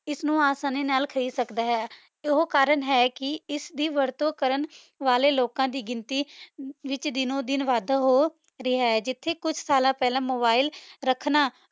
ਨੂ ਆਸਾਨੀ ਨਾਲ ਖੇਡ ਸਕਦਾ ਆਯ ਏਹੋ ਕਰਨ ਹੈ ਕੇ ਇਸਦੀ ਵਰਤੁ ਕਰਨ ਵਾਲੇ ਲੋਕਾਂ ਦੀ ਗਿਣਤੀ ਵਿਚ ਦਿਨੋ ਦਿਨ ਵਾਦਾ ਹੋ ਰਿਹਾ ਆਯ ਜਿਥੇ ਕੁਛ ਸਾਲਾਂ ਪੇਹ੍ਲਾਂ ਮੋਬਿਲੇ ਰਖਣਾ